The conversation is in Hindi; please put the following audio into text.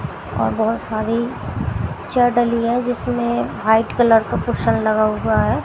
और बहोत सारी हैं जिसमें व्हाइट कलर का पोशर लगा हुवा हैं।